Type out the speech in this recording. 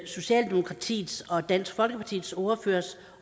socialdemokratiets og dansk folkepartis ordføreres